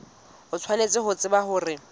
o tshwanetse ho tseba hore